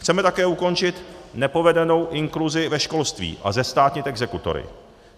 Chceme také ukončit nepovedenou inkluzi ve školství a zestátnit exekutory.